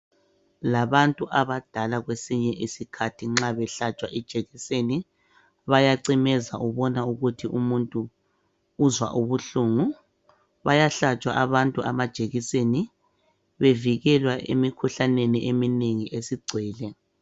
Labantu abadala kwesinye isikhathi nxa behlatshwa ijekiseni bayacimeza ubona ukuthi umuntu uzwa ubuhlungu bayahlatshwa abantu amajekiseni bevikelwe emikhuhlaneni eminengi esigcwele.